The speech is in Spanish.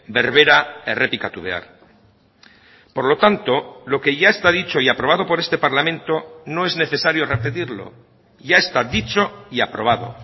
berbera errepikatu behar por lo tanto lo que ya está dicho y aprobado por este parlamento no es necesario repetirlo ya está dicho y aprobado